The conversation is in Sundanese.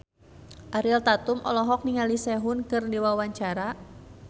Ariel Tatum olohok ningali Sehun keur diwawancara